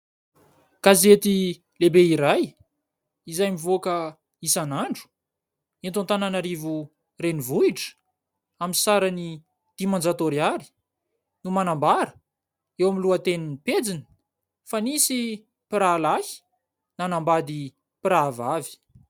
Gazety lehibe iray, izay mivoaka isan'andro eto Antananarivo renivohitra, amin'ny sarany dimanjato ariary, no manambara eo amin'ny lohatenin'ny pejiny fa nisy mpirahalahy nanambady mpirahavavy.